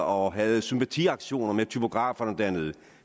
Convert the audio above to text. og havde sympatiaktioner med typograferne dernede